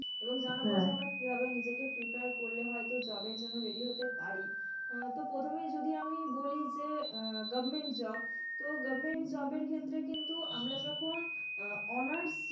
এবং জানাবো যে আমরা কিভাবে নিজেকে prepare করলে হয়তো job এর জন্য ready হতে পারি। তো প্রথমেই যদি আমি বলি যে আহ government job তো government job এর ক্ষেত্রে কিন্তু আমরা যখন আহ honours.